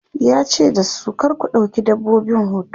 yace dasu "kar ku ɗauki dabbobin hoto!'